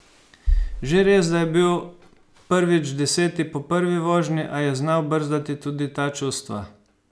Že res, da je bil prvič deseti po prvi vožnji, a je znal brzdati tudi ta čustva.